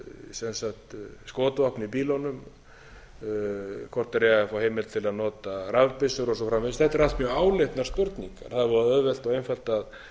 þeir eigi að fá heimild til að nota rafbyssur og svo framvegis þetta eru allt mjög áleitnar spurningar það er voða auðvelt og einfalt að